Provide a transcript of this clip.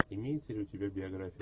имеется ли у тебя биография